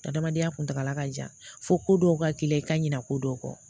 Adamadenya kuntakala ka jan fo ko dɔw ka k'i la i ka ɲina ko dɔw kɔ